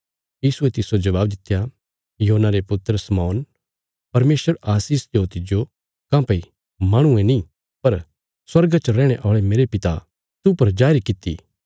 यीशुये तिस्सो जबाब दित्या योना रे पुत्र शमौन परमेशर आशीष देओ तिज्जो काँह्भई माहणुये नीं पर स्वर्गा च रैहणे औल़े मेरे पिता तूह पर जाहिर किति